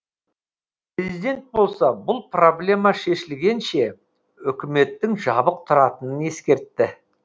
президент болса бұл проблема шешілгенше үкіметтің жабық тұратынын ескертті